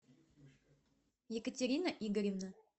екатерина игоревна